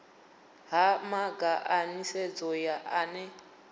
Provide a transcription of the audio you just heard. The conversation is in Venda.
ha mamaga a nisedzo ane